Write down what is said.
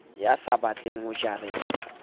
ya sa batleng ho jarelwa